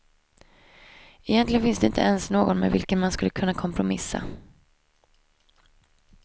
Egentligen finns det inte ens någon med vilken man skulle kunna kompromissa.